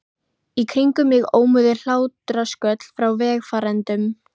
Í kringum mig ómuðu hlátrasköll frá vegfarendum.